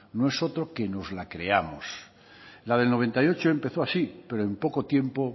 no es otro que nos la creamos la del noventa y ocho empezó así pero en poco tiempo